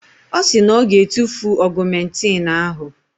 Ọ sị na ọ ga-etufu ọgụmentịn ahụ.